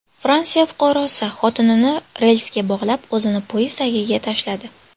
Fransiya fuqarosi xotinini relsga bog‘lab, o‘zini poyezd tagiga tashladi.